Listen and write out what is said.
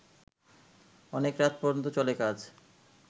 অনেক রাত পর্যন্ত চলে কাজ